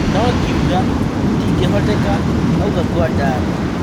No-ngiuga gũtingĩhoteka," auga Nguandaro.